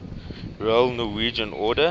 royal norwegian order